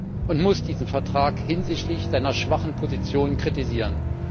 Man kann und muss diesen Vertrag hinsichtlich seiner schwachen Positionen kritisieren.